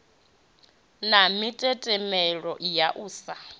na mitetemelo ya u sa